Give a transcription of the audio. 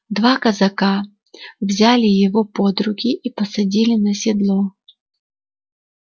два казака взяли его под руки и посадили на седло